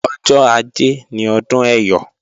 Ọjọ́ ajé ni ọdún Ẹyọ̀